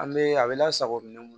An bɛ a bɛ lasago minɛn kɔnɔ